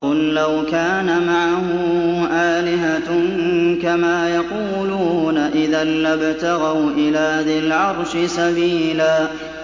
قُل لَّوْ كَانَ مَعَهُ آلِهَةٌ كَمَا يَقُولُونَ إِذًا لَّابْتَغَوْا إِلَىٰ ذِي الْعَرْشِ سَبِيلًا